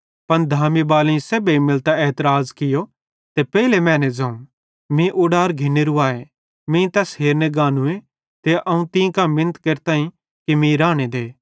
पन धामी बालेईं सेब्भेईं मिलतां एतराज़ कियो ते पेइले मैने ज़ोवं मीं उडार घिन्नेरू आए मीं तैस हेरने गानूए ते अवं तीं कां मिनत केरतां कि मीं राने दे